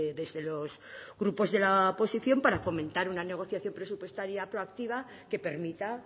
desde los grupos de la oposición para fomentar una negociación presupuestaria proactiva que permita